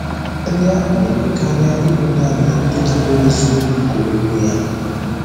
Ndị ahụ na-eme karịa ịbụ naanị ịnakwere eziokwu nke Okwu Ya.